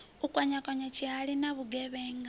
u kwakwanya tshihali na vhugevhenga